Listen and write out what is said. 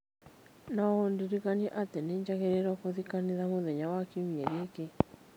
No ũndirikanie atĩ nĩ njagĩrĩirũo gũthiĩ kanitha mũthenya wa Kiumia gĩki